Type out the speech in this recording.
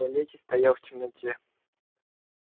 в туалете стоял в темноте